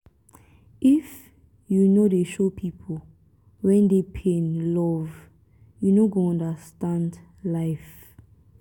if you no dey show pipu wey dey pain love you no go understand life.